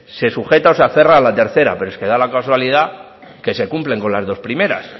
se sujeta o se aferra a la tercera pero es que da la casualidad que se cumple con las dos primeras